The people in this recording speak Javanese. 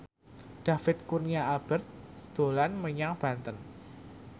David Kurnia Albert dolan menyang Banten